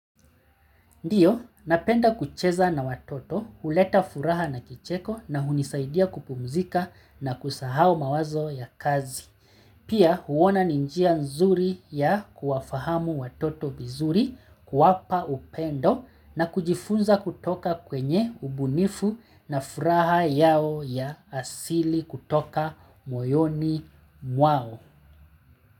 Ndiyo, napenda kucheza na watoto, huleta furaha na kicheko na hunisaidia kupumzika na kusahao mawazo ya kazi. Pia, huona ni njia nzuri ya kuwafahamu watoto vizuri, kuwapa upendo na kujifunza kutoka kwenye ubunifu na furaha yao ya asili kutoka moyoni mwao.